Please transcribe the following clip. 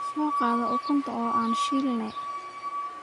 Soo qaado ukunta oo an shiilne.